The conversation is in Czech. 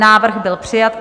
Návrh byl přijat.